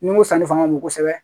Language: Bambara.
Ni ko sanni fanga ka bon kosɛbɛ